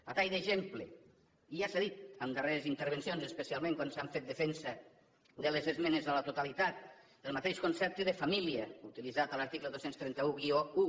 a tall d’exemple i ja s’ha dit en darreres intervencions especialment quan s’ha fet defensa de les esmenes a la totalitat el mateix concepte de família utilitzat a l’article dos mil tres cents i onze